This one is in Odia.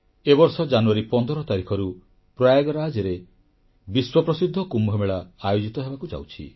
ଏ ବର୍ଷ ଜାନୁୟାରୀ 15 ତାରିଖରୁ ପ୍ରୟାଗରାଜରେ ବିଶ୍ୱପ୍ରସିଦ୍ଧ କୁମ୍ଭମେଳା ଆୟୋଜିତ ହେବାକୁ ଯାଉଛି